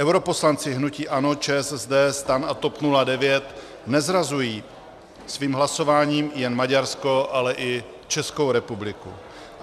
Europoslanci hnutí ANO, ČSSD, STAN a TOP 09 nezrazují svým hlasováním jen Maďarsko, ale i Českou republiku.